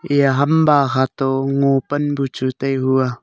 eya hamba khato ngopan buchu tai hua.